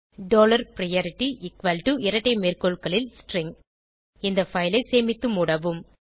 dollar priority இரட்டை மேற்கோள்களில் string இந்த பைல் ஐ சேமித்து மூடவும்